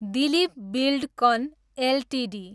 Dilip Buildcon Ltd